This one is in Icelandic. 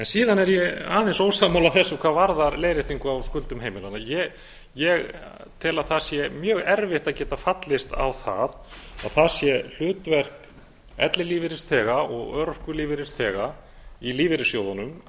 síðan er ég aðeins ósammála þessu hvað varðar leiðréttingu á skuldum heimilanna ég tel að það sé mjög erfitt að geta fallist á það að það sé hlutverk ellilífeyrisþega og örorkulífeyrisþega í lífeyrissjóðunum